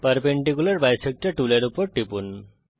perpendicular bisector টুলের উপর টিপুন